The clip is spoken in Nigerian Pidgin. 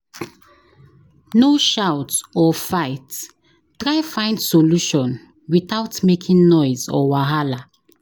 No shout or fight; try find solution without making noise or wahala.